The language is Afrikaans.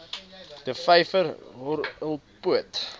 der vyver horrelpoot